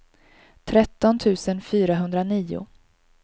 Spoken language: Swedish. tretton tusen fyrahundranio